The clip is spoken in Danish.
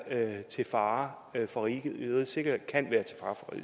til fare for rigets sikkerhed